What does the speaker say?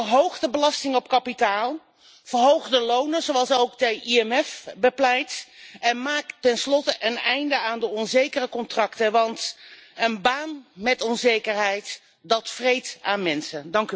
Verhoog de belasting op kapitaal, verhoog de lonen, zoals ook het IMF bepleit, en maak ten slotte een einde aan de onzekere contracten, want een baan met onzekerheid, dat vreet aan mensen.